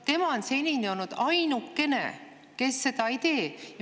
Tema on senini olnud ainukene, kes seda ei tee.